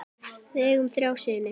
Við eigum þrjá syni.